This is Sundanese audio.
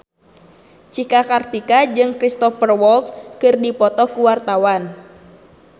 Cika Kartika jeung Cristhoper Waltz keur dipoto ku wartawan